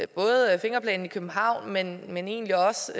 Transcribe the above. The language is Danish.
både fingerplanen i københavn men men egentlig også